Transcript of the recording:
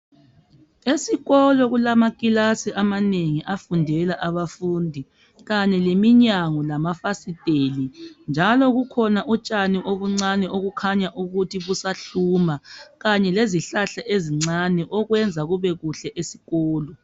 Esikolo kulamakilasi amanengi afundela abafundi ,Kanye leminyango lamafasiteli .Njalo kukhona utshani obuncani obukhanya ukuthi busahluma ,kanye lezihlahla ezincani okuyenza ukuthi kubekuhle esikolo.